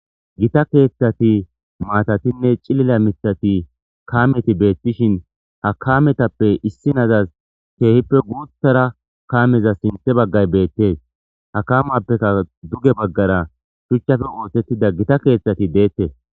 Gita keeththati maatatinne cilila mithati kaameti beettishin ha kametappe issi nazas keehippe guuthara kaameza sinthe baggay bettes. Hakamappekka duge baggara shuchchafe ootettida gita keeththati deettes.